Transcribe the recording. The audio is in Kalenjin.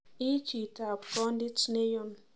Iii chitob kondit neyun